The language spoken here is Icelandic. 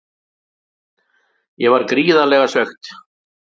Ég var gríðarlega svekkt.